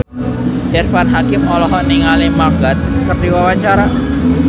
Irfan Hakim olohok ningali Mark Gatiss keur diwawancara